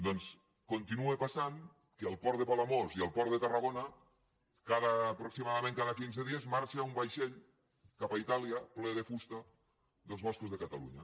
doncs continua passant que al port de palamós i al port de tarragona aproximadament cada quinze dies marxa un vaixell cap a itàlia ple de fusta dels boscos de catalunya